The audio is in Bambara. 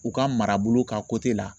U ka marabolo ka la